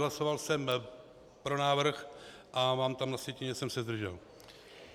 Hlasoval jsem pro návrh a mám tam na sjetině, že jsem se zdržel.